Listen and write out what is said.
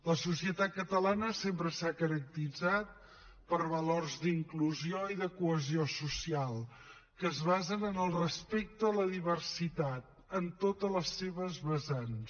la societat catalana sempre s’ha caracteritzat per valors d’inclusió i de cohesió social que es basen en el respecte a la diversitat en totes les seves vessants